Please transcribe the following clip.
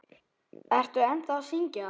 Ertu ennþá að syngja?